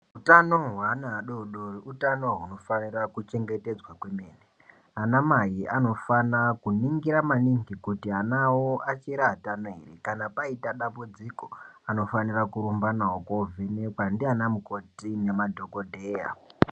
Hutano hwevana vadodori utano huvanofanira kuchengetedzwa kwemene anamai anofana kuningira maningi kuti vana vavo vachiri vatano here kana vaita dambudziko anofanira kuramba nawo kuno vhenekwa ndiana mukoti nemadhogodheya.